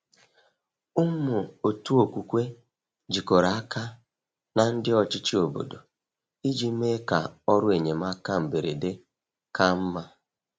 Ụmụ otu okwukwe jikọrọ aka na ndị ọchịchị obodo iji mee ka ọrụ enyemaka mberede ka mma.